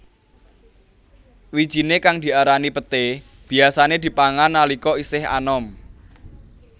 Wijiné kang diarani peté biyasané dipangan nalika isih anom